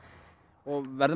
og verður